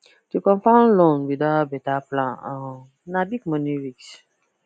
to confirm loan without better plan um na big money risk